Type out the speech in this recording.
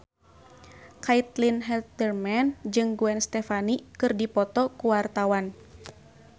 Caitlin Halderman jeung Gwen Stefani keur dipoto ku wartawan